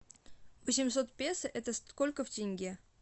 восемьсот песо это сколько в тенге